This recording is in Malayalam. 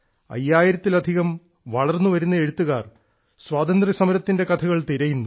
അയ്യായിരത്തിലധികം വളർന്നുവരുന്ന എഴുത്തുകാർ സ്വാതന്ത്ര്യസമരത്തിന്റെ കഥകൾ തിരയുന്നു